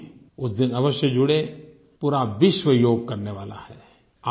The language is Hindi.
आप भी उस दिन अवश्य जुडें पूरा विश्व योग करने वाला है